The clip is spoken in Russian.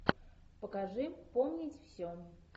покажи помнить все